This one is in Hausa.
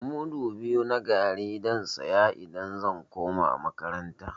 Mudu biyu na garri zan saya idan zan koma makaranta.